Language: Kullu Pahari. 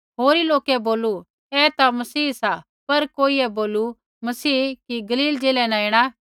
होरी लोकै बोलू ऐ ता मसीह सा पर कोइयै बोलू मसीह कि गलील ज़िलै न ऐणा